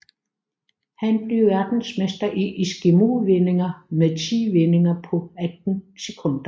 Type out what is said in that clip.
Han blev verdensmester i eskimovendinger med ti vendinger på 18 sekunder